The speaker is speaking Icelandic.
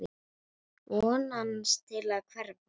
Vonast til að hverfa.